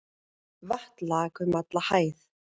Vatn lak um alla hæð.